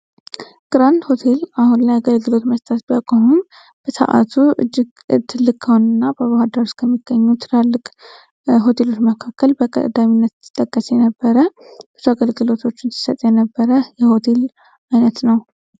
ግራንድ ሆቴል አሁን ላይ አገልግሎት መስጠት ቢያቆሆም በሰዓቱ እጅግ ትልቅ ከሆኑት እና በባህር ዳር ውስጥ ከሚገኙ ትላልቅ ሆቴሎች መካከል በቀዳሚነት የሚጠቀስ የነበረ ብዙ አገልግሎቶችን ስሰጥ የነበረ የሆቴል አይነት ነው።